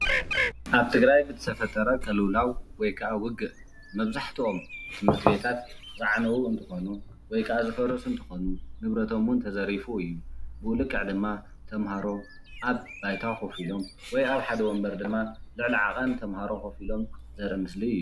ኣብ ትግራይ ብዝተፈጠረ ቅሉውላው ወይካኣ ውግእ መብዛሕቲኦም ትምህርቲ ቤታት ዝዓነው እንትኮኑ ወይካኣ ዝፈረሱ እንትኾኑ ንብረቶምውን ተዘሪፉ እዩ። ብኡ ልክዕ ድማ ተማሃሮ ኣብ ባይታ ኮፍ ኢሎም ወይከኣ ኣብ ሓደ ወንበር ልዕሊ ዓቐን ተማሃሮ ኮፍ ኢሎም ዘርኢ ምስሊ እዩ።